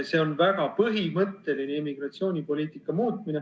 See on väga põhimõtteline immigratsioonipoliitika muutmine.